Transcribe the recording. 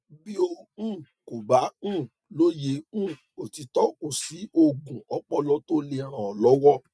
bí o um kò bá um lóye um òtítọ kò sí oògùn ọpọlọ tó lè ràn ọ lọwọ